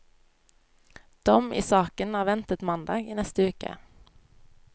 Dom i saken er ventet mandag i neste uke.